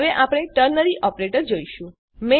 હવે આપણે ternary operator જોઈશું